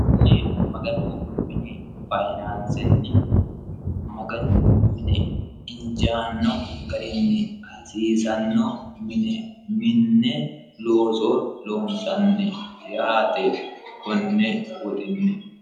kunni maganu mini fayinaansinni maganu mine injaanno garinni hasiisanno mine minne looso loonsanni yaate konne woxinni